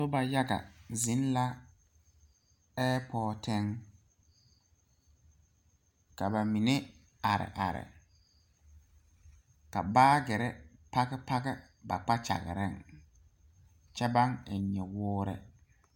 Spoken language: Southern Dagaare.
Noba yaga zeŋ la ɛɛpoti, ka ba mine are are a baagyere page page ba kpakyare kyɛ baŋ eŋ nyuwɔre.